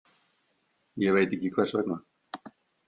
Ég veit ekki hvers vegna.